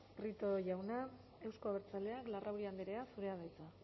prieto jauna euzko abertzaleak larrauri andrea zurea da hitza